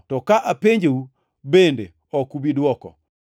to ka apenjou, bende ok ubi dwoko.